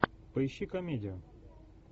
поищи комедию